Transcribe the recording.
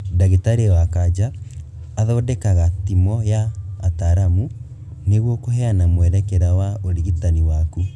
Ndagĩtarĩ wa kanja athondekaga timũ ya ataramu nĩguo kũheana mwerekera wa ũrigitani waku